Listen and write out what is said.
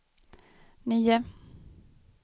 nio